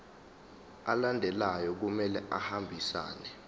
alandelayo kumele ahambisane